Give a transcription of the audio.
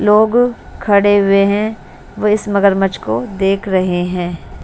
लोग खड़े हुए हैं वह इस मगरमच्छ को देख रहे हैं।